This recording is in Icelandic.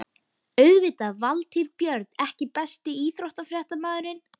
Auðvitað Valtýr Björn EKKI besti íþróttafréttamaðurinn?